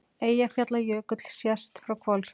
Eyjafjallajökull sést frá Hvolsvelli.